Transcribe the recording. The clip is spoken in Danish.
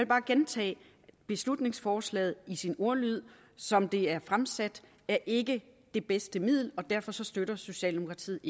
bare gentage at beslutningsforslaget i sin ordlyd som det er fremsat ikke er det bedste middel og derfor støtter socialdemokratiet